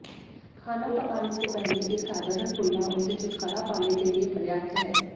खाना पकाने से पहले एक साधारण कुल्ला उनसे छुटकारा पाने के लिए पर्याप्त है